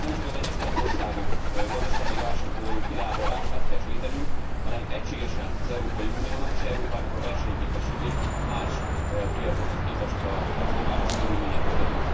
Hiszen itt nemcsak az egyes tagországok válságból való kilábalását kell segítenünk, hanem egységesen az Európai Uniónak és Európának a versenyképességét más piacokhoz képest a globális körülmények között.